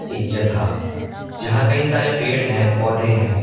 एक जगह जहां कई सारे पेड़ हैं पौधे हैं।